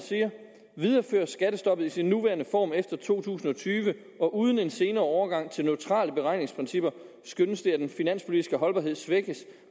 videreføres skattestoppet i sin nuværende form efter to tusind og tyve uden en senere overgang til neutrale beregningsprincipper skønnes det at den finanspolitiske holdbarhed svækkes